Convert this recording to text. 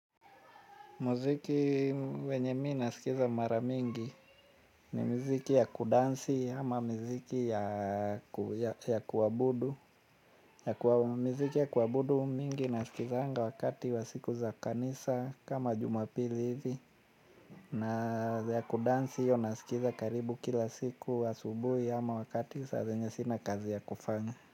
Muziki wenye mimi nasikiza mara mingi ni mziki ya kudansi ama mziki ya kuabudu. Mziki ya kuabudu mingi nasikiza hanga wakati wa siku za kanisa kama jumapili hivi. Na ya kudansi yo nasikiza karibu kila siku asubuhi ama wakati saa zenye sina kazi ya kufanya.